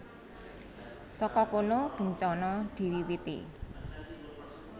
Saka kono bencana diwiwiti